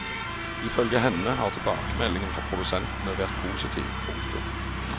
I følge henne har tilbakemeldingen fra produsentene vært positiv. punktum